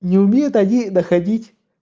не умеют они находить